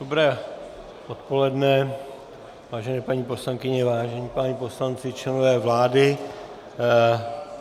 Dobré odpoledne, vážené paní poslankyně, vážení páni poslanci, členové vlády.